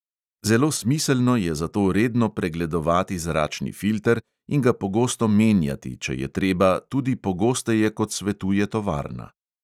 Zelo smiselno je zato redno pregledovati zračni filter in ga pogosto menjati, če je treba tudi pogosteje, kot svetuje tovarna.